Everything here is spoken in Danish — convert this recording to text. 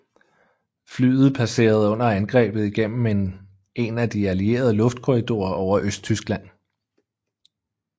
Flyet passerede under angrebet igennem en af de Alliede luftkorridorer over Østtyskland